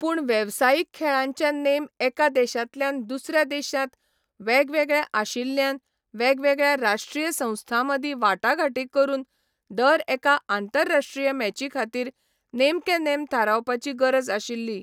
पूण वेवसायीक खेळांचे नेम एका देशांतल्यान दुसऱ्या देशांत वेगवेगळे आशिल्ल्यान वेगवेगळ्या राश्ट्रीय संस्थांमदीं वाटाघाटी करून दर एका आंतरराश्ट्रीय मॅचीखातीर नेमके नेम थारावपाची गरज आशिल्ली.